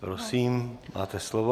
Prosím, máte slovo.